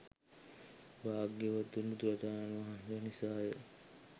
භාග්‍යවත් බුදුරජාණන් වහන්සේ නිසා ය